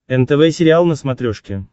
нтв сериал на смотрешке